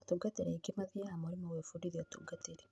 Atungatĩri aingĩ mathiaga mũrĩmo gwĩfundithia ũtungatĩri